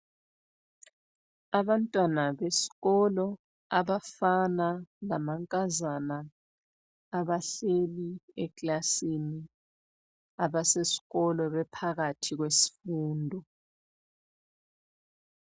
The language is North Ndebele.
Abantwana besikolo abafana lamankazana abahleli eklasini abasesikolo bephakathi kwesifundo.